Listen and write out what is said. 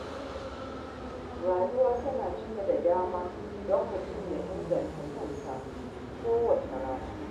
Rayuwa tana cike da dama don mutum ya inganta kansa kowace rana.